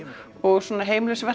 og